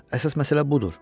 Əsas məsələ budur.